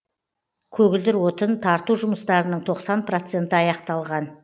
көгілдір отын тарту жұмыстарының тоқсан проценті аяқталған